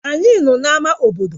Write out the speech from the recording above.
Anyị nọ na ámá bodo